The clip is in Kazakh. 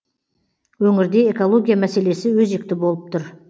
өңірде экология мәселесі өзекті болып тұр